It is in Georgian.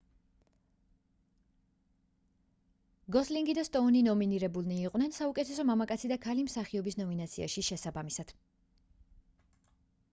გოსლინგი და სტოუნი ნომინირებულნი იყვნენ საუკეთესო მამაკაცი და ქალი მსახიობის ნომინაციაში შესაბამისად